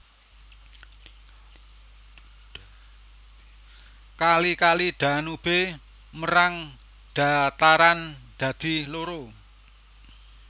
Kali Kali Danube mérang dhataran dadi loro